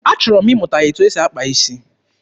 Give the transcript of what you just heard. Achọrọ m ịmụta etu esi akpa isi.